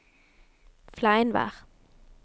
Fleinvær